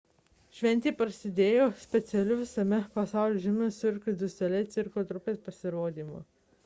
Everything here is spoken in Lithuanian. šventė prasidėjo specialiu visame pasaulyje žinomos cirque du soleil cirko trupės pasirodymu